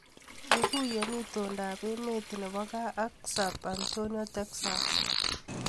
Ikuye itondoab emet nebo kaa ak Sab Antonio Texas